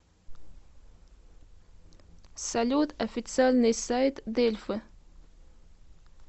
салют официальный сайт дельфы